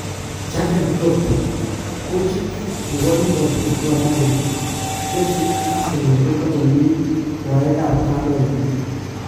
Jurgen Klopp:kochit nebo Liverpool kokamwa kole Chelsea ak Arsenal kotokomi rwaek ab kadoinatet